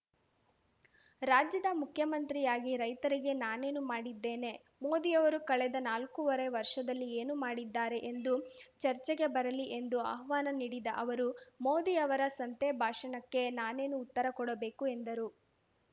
ರಾಜ್ಯದ ಮುಖ್ಯಮಂತ್ರಿಯಾಗಿ ರೈತರಿಗೆ ನಾನೇನು ಮಾಡಿದ್ದೇನೆ ಮೋದಿಯವರು ಕಳೆದ ನಾಲ್ಕೂವರೆ ವರ್ಷದಲ್ಲಿ ಏನು ಮಾಡಿದ್ದಾರೆ ಎಂದು ಚರ್ಚೆಗೆ ಬರಲಿ ಎಂದು ಆಹ್ವಾನ ನೀಡಿದ ಅವರು ಮೋದಿ ಯವರ ಸಂತೆ ಭಾಷಣಕ್ಕೆ ನಾನೇನು ಉತ್ತರ ಕೊಡಬೇಕು ಎಂದರು